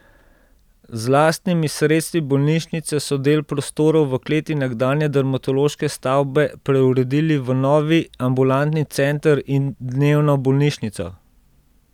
Z lastnimi sredstvi bolnišnice so del prostorov v kleti nekdanje dermatološke stavbe preuredili v novi ambulantni center in dnevno bolnišnico.